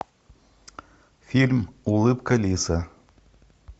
фильм улыбка лиса